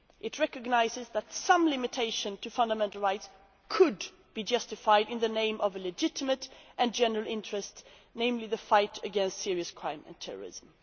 It recognises that some limitation to fundamental rights could be justified in the name of a legitimate and general interest namely the fight against serious crime and terrorism.